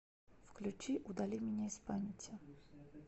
включи удали меня из памяти